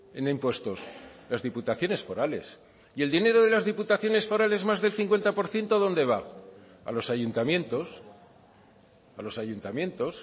en impuestos las diputaciones forales y el dinero de las diputaciones forales más del cincuenta por ciento dónde va a los ayuntamientos a los ayuntamientos